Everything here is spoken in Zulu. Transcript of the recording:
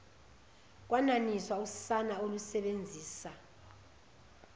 kwenaniswa usana olusebenzisa